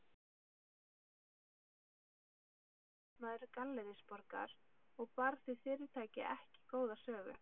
Þar fór fyrir einn fyrrum starfsmaður Gallerís Borgar og bar því fyrirtæki ekki góða sögu.